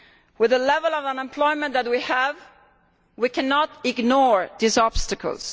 With the level of unemployment that we have, we cannot ignore these obstacles.